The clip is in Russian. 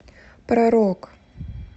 про рок